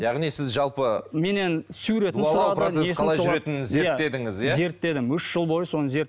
яғни сіз жалпы меннен процессі қалай жүретінін зерттедіңіз иә зерттедім үш жыл бойы соны